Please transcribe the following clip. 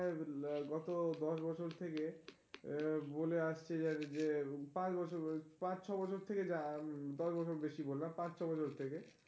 গত দশ বছর থেকে আহ বলে আসছে যে যে পাঁচবছর ওই পাঁচ-ছয় বছর থেকে যা আহ দশ বছর বেশি বললাম পাঁচ-ছয় বছর থেকে।